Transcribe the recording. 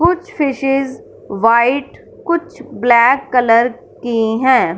कुछ fishes white कुछ black colour की हैं।